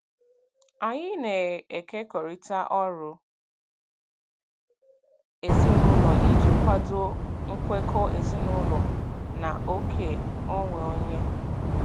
Anyị na-ekekọrịta ọrụ ezinụlọ iji kwado nkwekọ ezinụlọ na oke onwe onye.